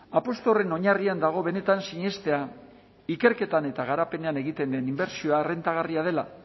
apustu horren oinarrian dago benetan sinestea ikerketan eta garapenean egiten den inbertsioa errentagarria dela